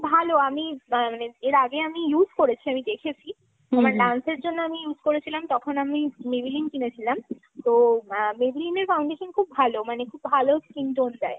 ভালো। আমি মানে এর আগে আমি use করেছি আমি দেখেছি। আমার dance এর জন্য আমি use করেছিলাম তখন আমি Maybelline কিনেছিলাম। তো Maybelline এর foundation খুব ভালো মানে খুব ভালো skin tone দেয়।